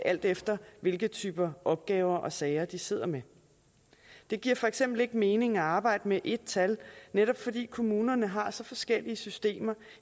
alt efter hvilken type opgaver og sager de sidder med det giver for eksempel ikke mening at arbejde med et tal netop fordi kommunerne har så forskellige systemer